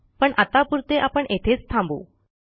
पण आत्तापुरते आपण येथेच थांबू